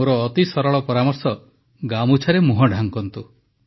ମୋର ଅତି ସରଳ ପରାମର୍ଶ ଗାମୁଛାରେ ମୁହଁ ଢାଙ୍କନ୍ତୁ